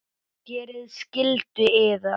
Gerið skyldu yðar!